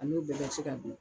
A n'o bɛɛ bɛ se ka dun.